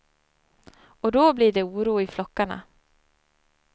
Och då blir det oro i flockarna.